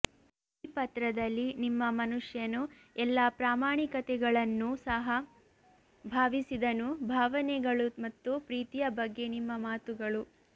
ಈ ಪತ್ರದಲ್ಲಿ ನಿಮ್ಮ ಮನುಷ್ಯನು ಎಲ್ಲ ಪ್ರಾಮಾಣಿಕತೆಗಳನ್ನೂ ಸಹ ಭಾವಿಸಿದನು ಭಾವನೆಗಳು ಮತ್ತು ಪ್ರೀತಿಯ ಬಗ್ಗೆ ನಿಮ್ಮ ಮಾತುಗಳು